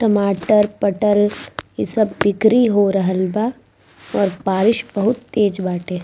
टमाटर पटल इ सब बिक्री हो रहल बा और बारिश बहुत तेज हो रहल बाटे।